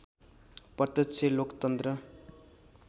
प्रत्यक्ष लोकतन्त्र